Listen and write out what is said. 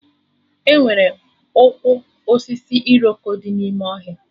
Enwere ụkwụ osisi Iroko dị n'ime ọhịa